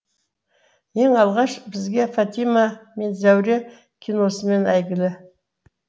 ең алғаш бізге фатима мен зәуре киносымен әйгілі